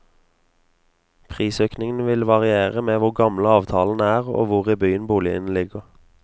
Prisøkningen vil variere med hvor gamle avtalene er og hvor i byen boligene ligger.